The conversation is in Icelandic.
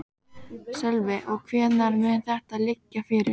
Sölvi: Og hvenær mun þetta liggja fyrir?